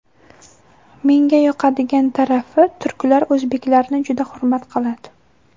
Menga yoqadigan tarafi, turklar o‘zbeklarni juda hurmat qiladi.